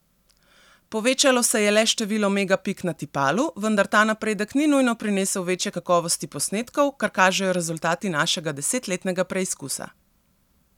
Povečevalo se je le število megapik na tipalu, vendar ta napredek ni nujno prinesel večje kakovosti posnetkov, kar kažejo rezultati našega desetletnega preizkusa.